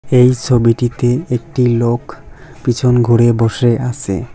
এই ছবিটিতে একটি লোক পিছন ঘুরে বসে আসে ।